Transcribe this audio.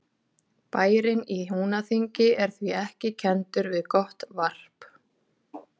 Bærinn í Húnaþingi er því ekki kenndur við gott varp.